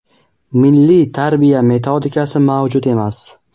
Milliy tarbiya metodikasi mavjud emas.